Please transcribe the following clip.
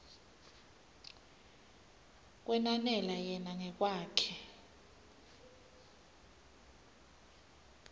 kwenanela yena ngekwakhe